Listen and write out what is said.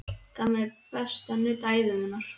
Hún gaf mér besta nudd ævi minnar.